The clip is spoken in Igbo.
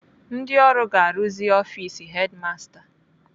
Ndị ọrụ ga-arụzi ọfis hedimasta